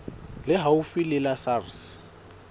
le haufi le la sars